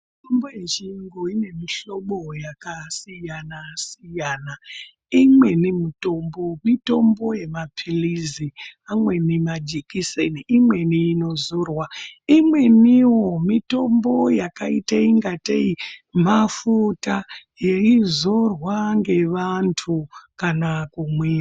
Mitombo yechiyungu ine mihlobo yakasiyana -siyana, imweni mitombo mitombo yemaphilizi, imweni majekiseni imweni inozorwa imweniwo mitombo yakaitangatei mafuta yeizorwa ngevantu kana kumwiwa.